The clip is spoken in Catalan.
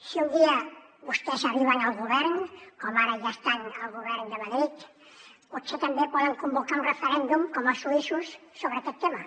si un dia vostès arriben al govern com ara ja estan al govern de madrid potser també poden convocar un referèndum com els suïssos sobre aquest tema